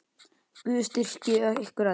Guð styrki ykkur öll.